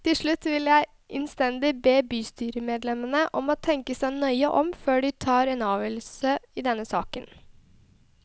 Til slutt vil jeg innstendig be bystyremedlemmene om å tenke seg nøye om før de tar en avgjørelse i denne saken.